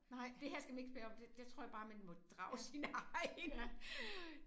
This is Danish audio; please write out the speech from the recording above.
Det her skal man ikke spørge om det der tror jeg bare man må drage sin egen